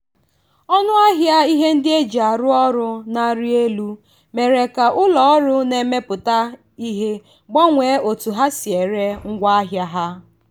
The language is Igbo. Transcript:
ọnụahịa ihe ndị e ji arụ ọrụ na-arị elu mere ka ụlọ ọrụ na-emepụta ihe gbanwee otu ha si ere ngwaahịa ha.